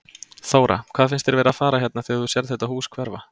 Þóra: Hvað finnst þér vera að fara hérna þegar þú sérð þetta hús hverfa?